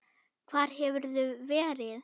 Hvar hefurðu verið?